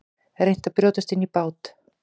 Reynt að brjótast inn í bát